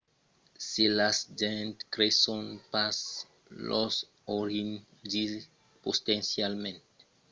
se las gents creson pas los orinhals sián potencialament perilhoses se pòdon aprochar tròp prèp e se metre solets en perilh